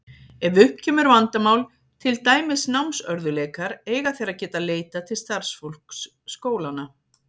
Ef upp kemur vandamál, til dæmis námsörðugleikar, eiga þeir að geta leitað til starfsfólks skólanna.